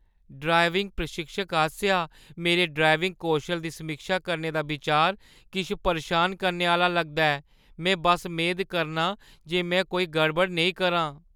Driving प्रशिक्षक आसेआ मेरे ड्राइविंग कौशल दी समीक्षा करने दा बिचार किश परेशान करने आह्‌ला लगदा ऐ। में बस मेद करनां जे में कोई गड़बड़ नेईं करां।